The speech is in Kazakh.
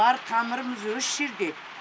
бар тамырымыз өсс жерде